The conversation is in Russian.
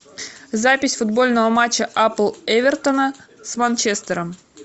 запись футбольного матча апл эвертона с манчестером